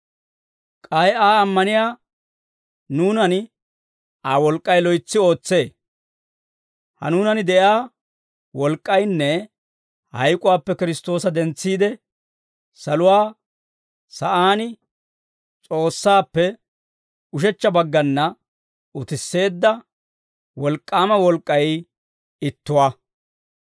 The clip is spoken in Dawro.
K'ay Aa ammaniyaa nuunan Aa wolk'k'ay loytsi ootsee. Ha nuunan de'iyaa wolk'k'aynne hayk'uwaappe Kiristtoosa dentsiide, saluwaa sa'aan S'oossaappe ushechcha baggana utisseedda wolk'k'aama wolk'k'ay ittuwaa.